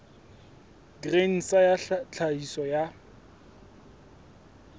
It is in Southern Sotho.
grain sa ya tlhahiso ya